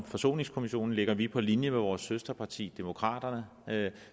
forsoningskommissionen ligger vi på linje med vores søsterparti demokraterne